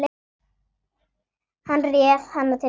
Hann réð hana til sín.